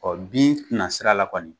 Ɔ bin tɛna sira la kɔni